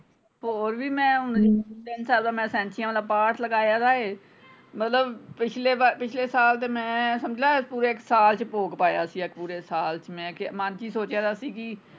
ਸਹੀ ਗੱਲ ਹੈ ਹੋਰ ਵੀ ਮੈਂ ਹੁਣ ਤਿੰਨ ਸਾਲ ਦਾ ਮੈਂ ਸੈਂਚੀਆਂ ਵਾਲਾ ਪਾਠ ਲਗਾਇਆ ਦਾ ਏ ਮਤਲਬ ਪਿਛਲੇ ਵਾਰ ਪਿਛਲੇ ਸਾਲ ਤੇ ਮੈਂ ਸਮਜਲਾ ਪੂਰੇ ਸਾਲ ਚ ਭੋਗ ਪਾਇਆ ਸੀ ਪੂਰੇ ਸਾਲ ਚ ਮੈਂ ਕਿਹਾ ਮੰਨ ਚ ਹੀ ਸੋਚਿਆ ਦਾ ਸੀ ਕਿ।